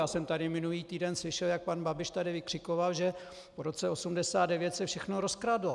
Já jsem tady minulý týden slyšel, jak pan Babiš tady vykřikoval, že po roce 1989 se všechno rozkradlo.